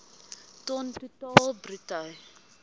ton totaal bruto